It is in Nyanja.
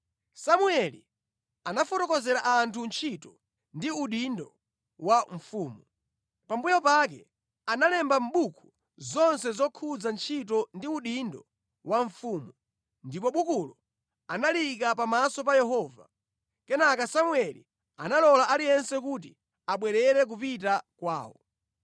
Samueli anafotokozera anthu ntchito ndi udindo wa mfumu. Pambuyo pake analemba mʼbuku zonse zokhudza ntchito ndi udindo wa mfumu, ndipo bukulo analiyika pamaso pa Yehova. Kenaka Samueli analola aliyense kuti abwerere kupita kwawo.